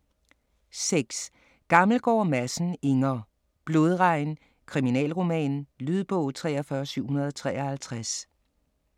6. Gammelgaard Madsen, Inger: Blodregn: kriminalroman Lydbog 43753